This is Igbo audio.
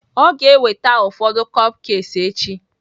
Ọ ga-eweta ụfọdụ cupcakes echi?